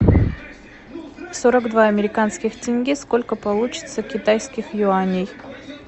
сорок два американских тенге сколько получится китайских юаней